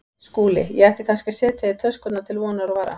SKÚLI: Ég ætti kannski að setja í töskurnar til vonar og vara.